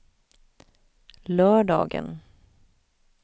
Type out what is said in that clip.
lördagen